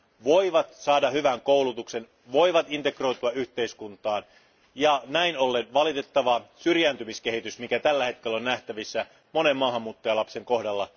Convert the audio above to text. voivat saada hyvän koulutuksen ja voivat integroitua yhteiskuntaan ja näin ollen voitaisiin välttää valitettava syrjäytymiskehitys, joka tällä hetkellä on nähtävissä monen maahanmuuttajalapsen kohdalla.